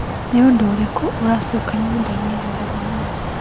Nĩ ũndũ ũrĩkũ ũracoka nyũmba-inĩ ya gũthoma .